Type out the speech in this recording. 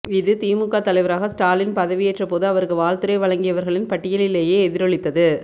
இது திமுக தலைவராக ஸ்டாலின் பதவியேற்ற போது அவருக்கு வாழ்த்துரை வழங்கியவர்களின் பட்டியலிலேயே எதிரொலித்தது